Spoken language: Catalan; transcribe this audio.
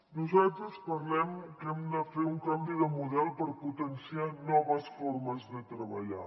nosaltres parlem que hem de fer un canvi de model per potenciar noves formes de treballar